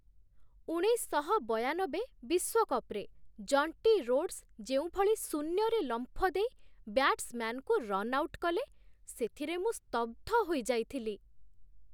ଉଣେଇଶଶହବୟାନବେ ବିଶ୍ୱକପ୍‌ରେ Jonty Rhodes ଯେଉଁଭଳି ଶୂନ୍ୟରେ ଲମ୍ଫ ଦେଇ ବ୍ୟାଟ୍ସମ୍ୟାନ୍‌ଙ୍କୁ ରନ୍ ଆଉଟ୍ କଲେ, ସେଥିରେ ମୁଁ ସ୍ତବ୍ଧ ହୋଇଯାଇଥିଲି।